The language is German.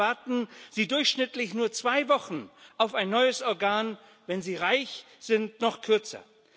In China warten Sie durchschnittlich nur zwei Wochen auf ein neues Organ, wenn Sie reich sind, noch kürzer.